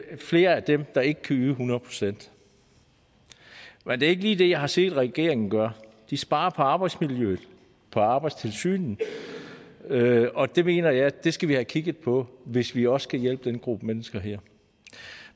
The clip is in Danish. flere af dem der ikke kan yde hundrede procent men det er ikke lige det jeg har set regeringen gøre de sparer på arbejdsmiljøet på arbejdstilsynet og det mener jeg vi skal have kigget på hvis vi også skal hjælpe den gruppe mennesker her